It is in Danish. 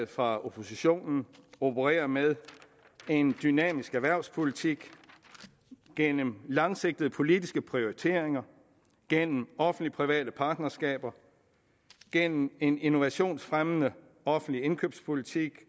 fra oppositionen opererer med en dynamisk erhvervspolitik gennem langsigtede politiske prioriteringer gennem offentlige og private partnerskaber gennem en innovationsfremmende offentlig indkøbspolitik